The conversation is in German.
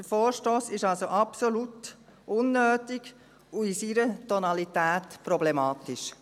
Der Vorstoss ist also absolut unnötig und in seiner Tonalität problematisch.